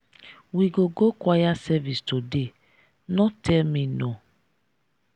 we go go choir service today no tell me no.